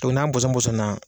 to n'an bɔsɔn bɔsɔnna.